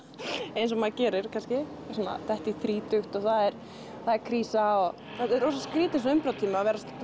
eins og maður gerir kannski svona að detta í þrítugt og það er það er krísa og þetta er rosa skrítið á svona umbrotatíma að vera að